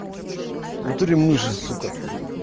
в натуре мыши сука